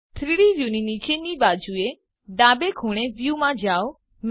3ડી વ્યુંની નીચેની બાજુએ ડાબે ખૂણે વ્યૂ માં જાઓ